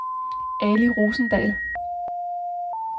Ali Rosendahl